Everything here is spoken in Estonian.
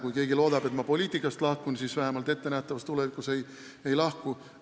Kui keegi loodab, et ma poliitikast lahkun, siis vähemalt ettenähtavas tulevikus ei lahku.